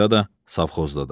Bakıda da, savxozda da.